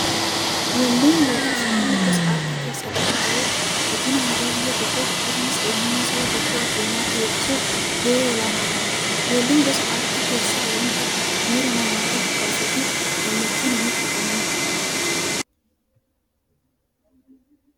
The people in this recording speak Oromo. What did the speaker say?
Weelluun yookin shubbifni gosa aartii keessaa tokko ta'ee, guddina aadaa biyya tokkoof akkasumas eenyummaa saba tokkoo addunyaatti beeksisuuf gahee olaanaa qaba. Weelluun gosa artii keessaa wanta miira namootaa kakaasuufi gammachuu namatti uumudha.